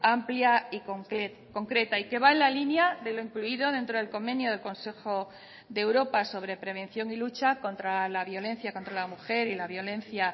amplia y concreta y que va en la línea de lo incluido dentro del convenio del consejo de europa sobre prevención y lucha contra la violencia contra la mujer y la violencia